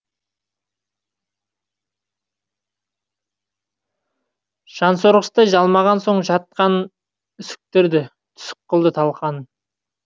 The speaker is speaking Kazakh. жансорғыштай жалмаған соң жат қанын үсіктірді түсік қылды талқанын